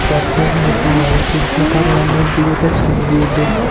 Shavkat Mirziyoyev Turkiya parlamentiga tashrif buyurdi.